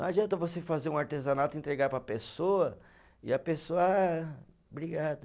Não adianta você fazer um artesanato e entregar para a pessoa e a pessoa, ah, obrigado.